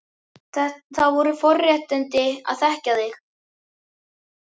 Það voru forréttindi að þekkja þig.